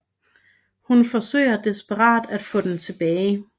Hun forsøger desperat på at få den tilbage